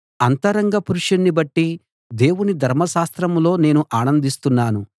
అంతరంగ పురుషుణ్ణి బట్టి దేవుని ధర్మశాస్త్రంలో నేను ఆనందిస్తున్నాను